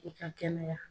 I ka kɛnɛya